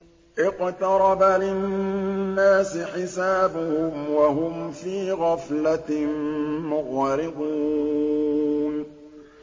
اقْتَرَبَ لِلنَّاسِ حِسَابُهُمْ وَهُمْ فِي غَفْلَةٍ مُّعْرِضُونَ